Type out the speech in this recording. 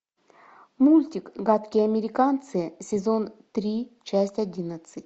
мультик гадкие американцы сезон три часть одиннадцать